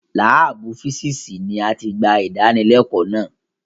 Láàbù físìsì ni a ti gba ìdánilẹ́kọ̀ọ́ lánàá.